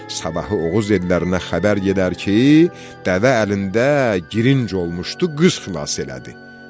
Sabahı Oğuz ellərinə xəbər gedər ki, dəvə əlində girinc olmuşdu, qız xınası elədi.